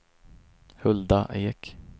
Hulda Ek